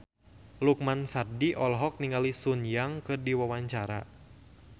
Lukman Sardi olohok ningali Sun Yang keur diwawancara